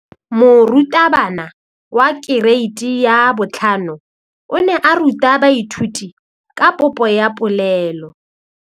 Moratabana wa kereiti ya 5 o ne a ruta baithuti ka popô ya polelô.